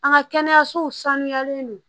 An ka kɛnɛyasow sanuyalen don